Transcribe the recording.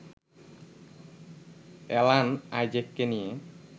Alan আইজ্যাককে নিয়ে